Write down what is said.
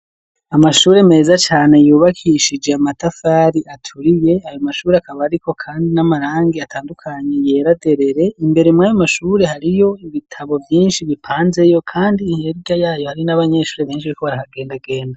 Amashuri meza cane yubakishije amatafari aturiye ayo mashuri akaba ariko kandi n'amarangi atandukanye yera derere imbere muri ayo mashurie hariyo ibitabo vyinshi bipanzeyo kandi ihereka yayo hari n'abanyeshure benshi bariko baragendagenda.